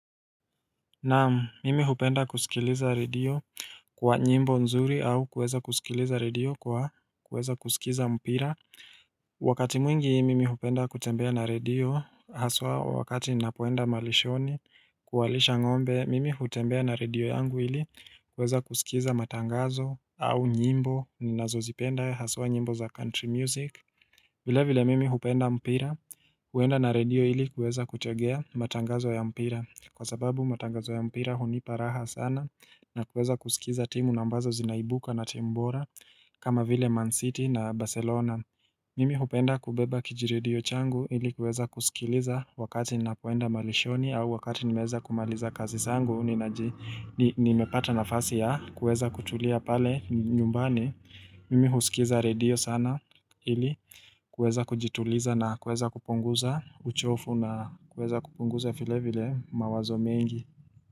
Naam mimi hupenda kusikiliza radio kwa nyimbo nzuri au kweza kusikiliza radio kwa kweza kusikiza mpira. Wakati mwingi mimi hupenda kutembea na radio haswa wakati ninapoenda malishoni kuwalisha ngombe mimi hupenda na radio yangu ili kweza kusikiza matangazo au nyimbo ninazozipenda haswa nyimbo za country music. Vile vile mimi hupenda mpira, huenda na radio ili kueza kuchegea matangazo ya mpira. Kwa sababu matangazo ya mpira hunipa raha sana na kueza kusikiza timu na ambazo zinaibuka na timu bora kama vile Man City na Barcelona. Mimi hupenda kubeba kijiredio changu ili kueza kusikiliza wakati ninapoenda malishoni au wakati nimeeza kumaliza kazi sangu ninaji Nimepata nafasi ya kueza kutulia pale nyumbani Mimi husikiza radio sana ili kueza kujituliza na kueza kupunguza uchofu na kueza kupunguza file vile mawazo mengi.